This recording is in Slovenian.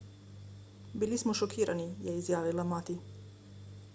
bili smo šokirani je izjavila mati